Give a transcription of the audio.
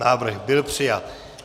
Návrh byl přijat.